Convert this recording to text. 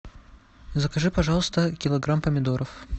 закажи пожалуйста килограмм помидоров